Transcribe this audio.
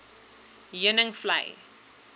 heuningvlei